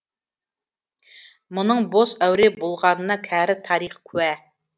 мұның бос әуре болғанына кәрі тарих куә